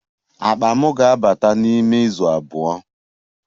Akpa m ga-abata n'ime izu abụọ